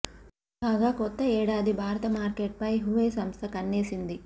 కాగా కొత్త ఏడాది భారత మార్కెట్ పై హువై సంస్థ కన్నేసింది